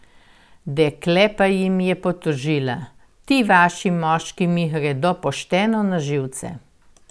Dekle pa jim je potožila: "Ti vaši moški mi gredo pošteno na živce!